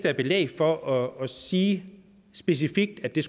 er belæg for at sige specifikt og det